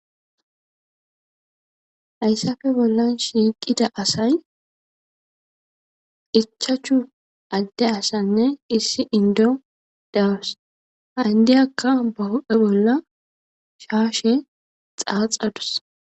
Hayssafe bollan shiiqida asay ichachu adde asanne issi indo dawus ha indiyakka bahu'he bolla shaashe xaaxadus